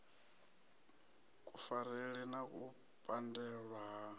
kufarele na u pandelwa ha